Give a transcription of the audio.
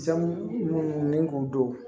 Zamɛ munnu ni k'u don